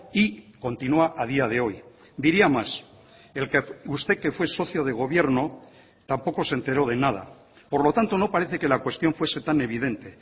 y continúa a día de hoy diría más el que usted que fue socio de gobierno tampoco se enteró de nada por lo tanto no parece que la cuestión fuese tan evidente